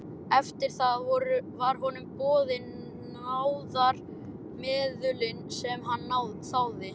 Eftir það voru honum boðin náðarmeðulin sem hann þáði.